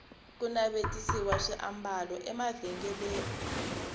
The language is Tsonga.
ku navetisiwa swiambalo emavhengeleni